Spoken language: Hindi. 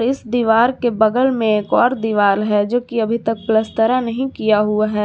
इस दीवार के बगल में एक और दीवाल है जो कि अभी तक पलस्तरा नहीं किया हुआ है।